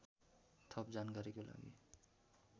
थप जानकारीको लागि